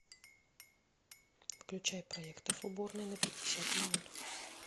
выключай проектор в уборной на пятьдесят минут